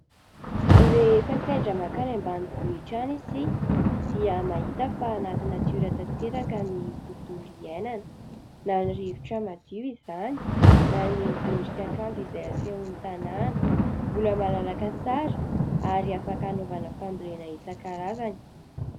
Rehefa sendra mankany ambanivohitra any isika dia mahita fa anaty natiora tanteraka ny tontolo iainana. Na ny rivotra madio izany na ny endrika kanto izay asehon'ny tanàna, mbola malalaka tsara ary afaka hanaovana fambolena isankarazany.